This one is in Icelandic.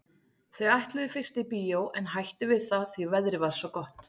Þau ætluðu fyrst í bíó en hættu við það því að veðrið var svo gott.